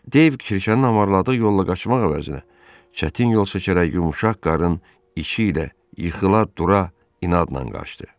Deyv Kirşənin avarladığı yolla qaçmaq əvəzinə, çətin yol çəkərək yumşaq qarın içi ilə yıxıla-dura inadla qaçdı.